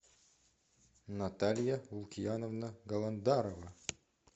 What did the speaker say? наталья лукьяновна галандарова